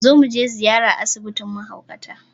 Let's pay a visit to the mental health home.